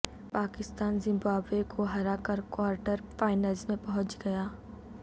Pakistan Zimbabwe کو ہرا کر کوارٹر فائنلز میں پہنچ گیا